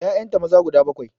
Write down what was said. Ƴaƴanta maza guda bakwai